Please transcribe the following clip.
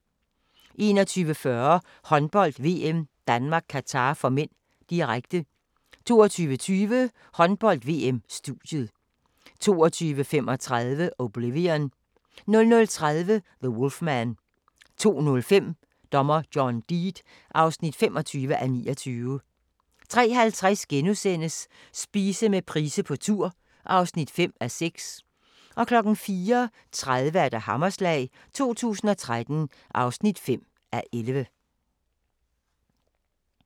21:40: Håndbold: VM - Danmark-Qatar (m), direkte 22:20: Håndbold: VM - studiet 22:35: Oblivion 00:30: The Wolfman 02:05: Dommer John Deed (25:29) 03:50: Spise med Price på tur (5:6)* 04:30: Hammerslag 2013 (5:11)*